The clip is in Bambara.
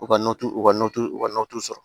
U ka u ka u ka sɔrɔ